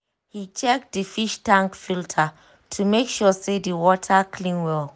he check the fish tank filter to make sure say the water clean well